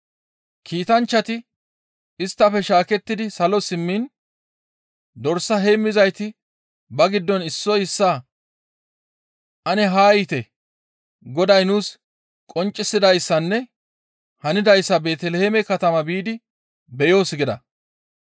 Kiitanchchati isttafe shaakettidi salo simmiin dorsa heemmizayti ba giddon issoy issaa, «Ane haa yiite Goday nuus qonccisidayssanne hanidayssa Beeteliheeme katama biidi beyoos» gida.